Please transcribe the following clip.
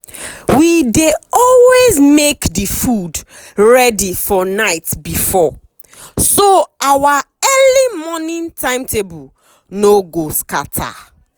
we dey always make the food ready for night before so our early morning timetable no go scatter.